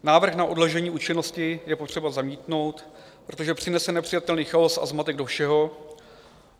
Návrh na odložení účinnosti je potřeba zamítnout, protože přinese nepřijatelný chaos a zmatek do všeho.